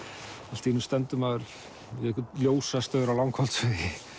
allt í einu stendur maður við einhvern ljósastaur á Langholtsvegi